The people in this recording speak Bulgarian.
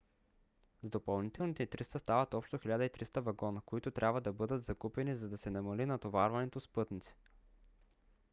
с допълнителните 300 стават общо 1300 вагона които трябва да бъдат закупени за да се намали натоварването с пътници